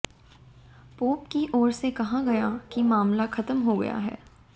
pope की ओर से कहा गया कि मामला खत्म हो गया है